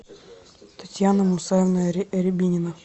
татьяна мусаевна рябинина